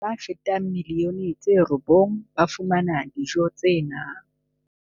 Bana ba fetang milioni tse robong ba fumana dijo tse nang.